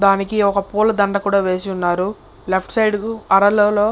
దానికి ఒక పూల దండ కూడా వేసి ఉన్నారు లెఫ్ట్ సైడ్ అరరలో --